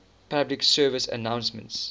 public service announcements